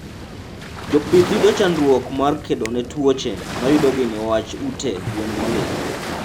Jopith yudo chandruok mar kedone tuoche mayudogi niwach ute gwen molil